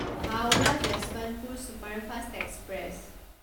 Howrah Yesvantpur superfast express